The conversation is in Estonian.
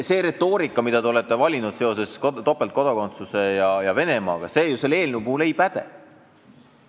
See retoorika, mille te olete topeltkodakondsusest rääkides ja Venemaale viidates valinud, selle eelnõu puhul ju ei päde.